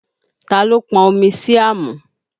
Ta ló pọn omi sí àmù?